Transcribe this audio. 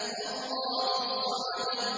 اللَّهُ الصَّمَدُ